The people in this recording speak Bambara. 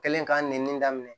Kɛlen k'a nɛni daminɛ